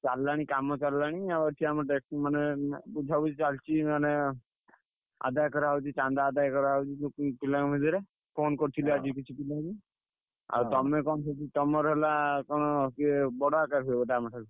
ଚାଲିଲାଣି କାମ ଚାଲିଲାଣି ଆଉ ଏଠି ଆମ ମାନେ ବୁଝାବୁଝି ଚାଲଚି ମାନେ ଆଦାୟ କରା ହଉଛି ଚାନ୍ଦା ଆଦାୟ କରାହଉଛି ଯେତିକି ପିଲାଙ୍କ ଭିତରେ। phone କରିଥିଲି ଆଜି କିଛି ପିଲାଙ୍କୁ। ଆଉ ତମେ କଣ ସବୁ ତମର ହେଲା କଣ କିଏ ବଡ ଆକାରରେ ହୁଏ ବୋଧେ ଆମ ଠାରୁ?